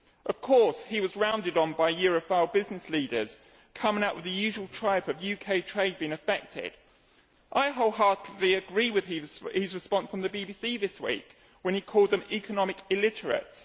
Of course he was rounded on by Europhile business leaders coming out with the usual tripe about UK trade being affected. I wholeheartedly agree with his response on the BBC this week, when he called them economic illiterates.